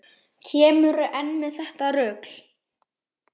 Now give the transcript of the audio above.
Kemurðu enn með þetta rugl!